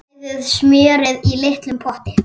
Bræðið smjörið í litlum potti.